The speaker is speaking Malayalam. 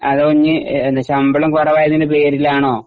അതോ ഇഞ്ഞി എന്താ ശമ്പളം കുറവായതിന്റെ പേരിലാണോ?